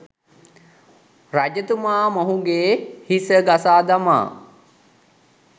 රජතුමා මොහුගේ් හිස ගසා දමා